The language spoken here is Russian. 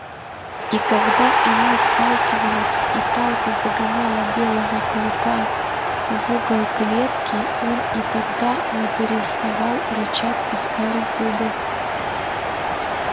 и когда они сталкивались и палка загоняла белого клыка в угол клетки он и тогда не переставал рычать и скалить зубы